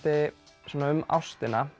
um ástina